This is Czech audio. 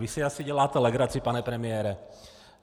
Vy si asi děláte legraci, pane premiére.